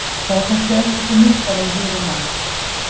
Það er kannski örlítið mildara í hugum manna.